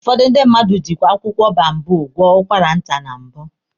Ụfọdụ ndị mmadụ jikwe akwụkwọ boababụ gwọ ụkwara nta na mbụ.